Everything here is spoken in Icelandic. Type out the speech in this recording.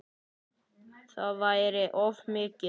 Það væri of mikið.